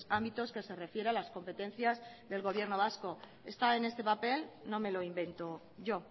ámbitos que se refiere a las competencias del gobierno vasco está en este papel no me lo invento yo